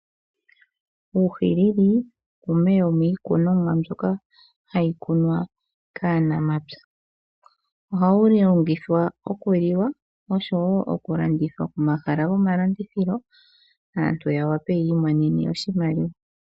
Uuhilili yimwe yomiikunimwa mbyoka hayi kunwa kaanamapya. Ohawu longithwa okuliwa noshowoo okulanditha pomahala gomalandithilo, aantu yawape yiimonene oshimaliwa.